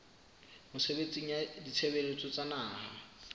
mesebetsing ya ditshebeletso tsa naha